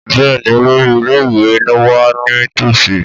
Bẹ́ẹ̀ni olórí ilé ìwé wà ní tòsí